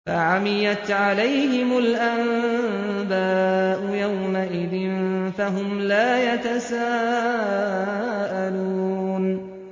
فَعَمِيَتْ عَلَيْهِمُ الْأَنبَاءُ يَوْمَئِذٍ فَهُمْ لَا يَتَسَاءَلُونَ